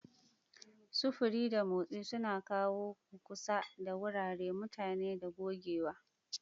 Sufuri da motsi suna kawo mu kusa da wurare, mutane, da gogewa.